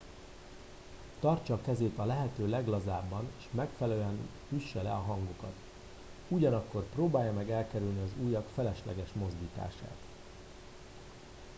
tartsa a kezét a lehető leglazábban és megfelelően üsse le a hangokat ugyanakkor próbálja meg elkerülni az ujjak felesleges mozdítását